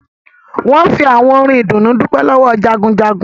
Wọn fi àwọn orin ìdùnnú dupe lọ́wọ́ Jagunjagun